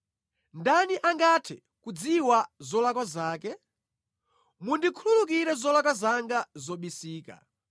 Ndani angathe kudziwa zolakwa zake? Mundikhululukire zolakwa zanga zobisika.